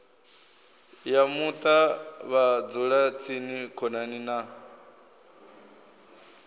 ya muṱa vhadzulatsini khonani na